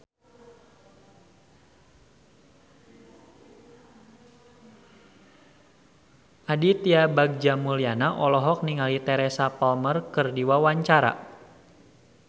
Aditya Bagja Mulyana olohok ningali Teresa Palmer keur diwawancara